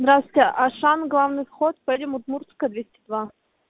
здравствуйте ашан главный вход поедем удмуртская двести два